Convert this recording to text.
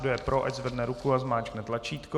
Kdo je pro, ať zvedne ruku a zmáčkne tlačítko.